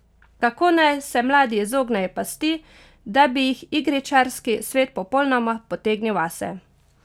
Kako naj se mladi izognejo pasti, da bi jih igričarski svet popolnoma potegnil vase?